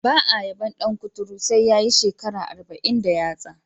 Ba a yabon dan kuturu sai ya yi shekara arba'in da yatsa.